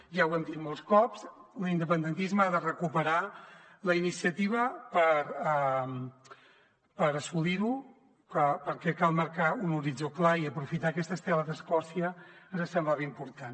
ja ho hem dit molts cops l’independentisme ha de recuperar la iniciativa per assolirho perquè cal marcar un horitzó clar i aprofitar aquesta estela d’escòcia ens semblava important